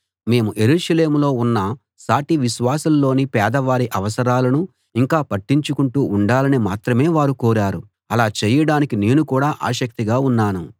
మేము యెరూషలేములో ఉన్న సాటి విశ్వాసుల్లోని పేదవారి అవసరాలను ఇంకా పట్టించుకొంటూ ఉండాలని మాత్రమే వారు కోరారు అలా చేయడానికి నేను కూడా ఆసక్తిగా ఉన్నాను